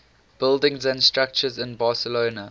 buildings and structures in barcelona